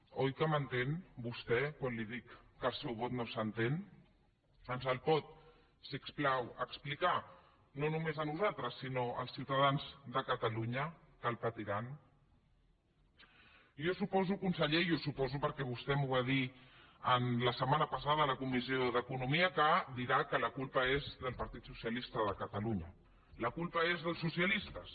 oi que m’entén vostè quan li dic que el seu vot no s’entén ens el pot si us plau explicar no només a nosaltres sinó als ciutadans de catalunya que el patiran jo suposo conseller i ho suposo perquè vostè m’ho va dir la setmana passada a la comissió d’economia que dirà que la culpa és del partit socialista de catalunya la culpa és dels socialistes